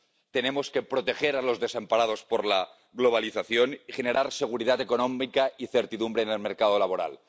Tenemos que proteger a los desamparados por la globalización y generar seguridad económica y certidumbre en el mercado laboral.